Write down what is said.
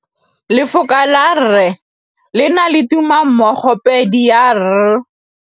Lefoko la rre, le na le tumammogôpedi ya, r.